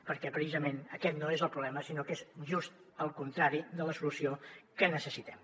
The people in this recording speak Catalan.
perquè precisament aquest no és el problema sinó que és just el contrari de la solució que necessitem